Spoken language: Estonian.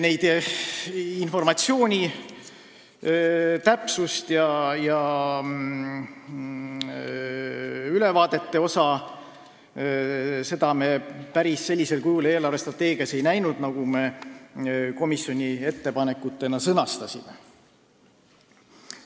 Ka informatsiooni täpsust ja ülevaateid ei näinud me eelarvestrateegias päris sellisel kujul, nagu me komisjonis ettepanekutena sõnastasime.